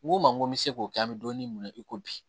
N ko ma ko n bɛ se k'o kɛ an bɛ dumuni mun na i ko bi